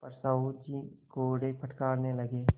पर साहु जी कोड़े फटकारने लगे